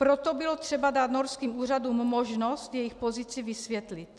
Proto bylo třeba dát norským úřadům možnost jejich pozici vysvětlit.